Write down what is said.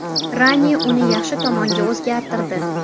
Rani uni yaxshi tomonga o‘zgartirdi.